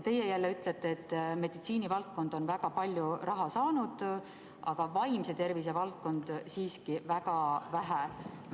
Teie jälle ütlete, et meditsiinivaldkond on väga palju raha saanud, aga vaimse tervise valdkond siiski väga vähe.